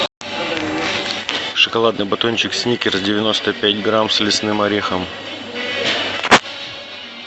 шоколадный батончик сникерс девяносто пять грамм с лесным орехом